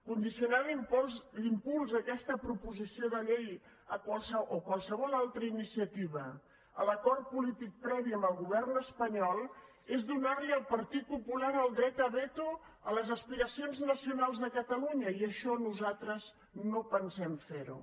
condicionar l’impuls d’aquesta proposició de llei o qualsevol altra iniciativa a l’acord polític previ amb el govern espanyol és donar li al partit popular el dret a veto a les aspiracions nacionals de catalunya i això nosaltres no pensem fer ho